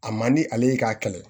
A man di ale ye k'a kɛlɛ